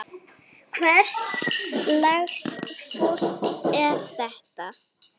Hvers lags fólk er þetta?